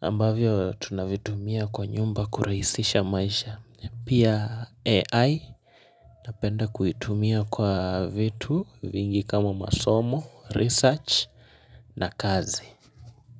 ambavyo tunavitumia kwa nyumba kurahisisha maisha. Pia AI napenda kuitumia kwa vitu vingi kama masomo, research na kazi.